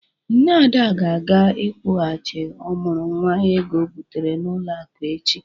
Nne Ada ga-aga ịkwụghachi ọmụrụ nwa ego ọ bitere n'ụlọ akụ echi.